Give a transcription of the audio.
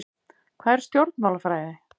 Hvað er stjórnmálafræði?